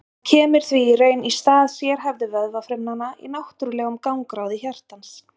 hann kemur því í raun í stað sérhæfðu vöðvafrumanna í náttúrlegum gangráði hjartans